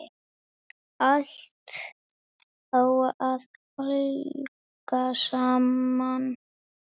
Allt á að hanga saman.